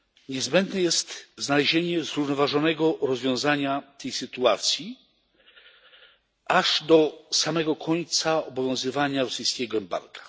niezbędne jest znalezienie zrównoważonego rozwiązania tej sytuacji aż do samego końca obowiązywania rosyjskiego embarga.